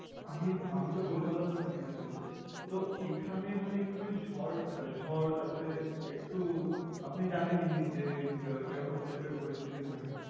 আমি আমিতো কলকাতা তে থাকি basically । তো এখানে মানে একটুখানি ঝড় ঝড় তারপরে একটু আপনি জানেনি যে কিরকম type এর পরিস্থিতি থাকে।